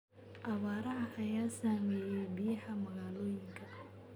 Abaaraha ayaa saameeyay biyaha magaalooyinka.